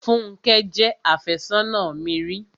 Fúnkẹ́ jẹ́ àfẹ́sónà mi ri.